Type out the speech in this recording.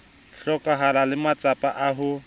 hlokahalang le matsapa a ho